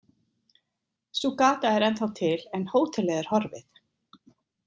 Sú gata er ennþá til en hótelið er horfið.